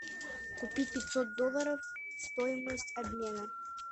купить пятьсот долларов стоимость обмена